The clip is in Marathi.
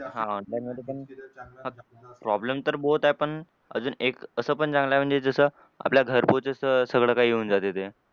हां online मधे पण problem तर बहोत आहे पण अजून एक असं पण चांगलं आहे जसं आपल्या घरपोच जसं सगळं काय येऊन जाते ते.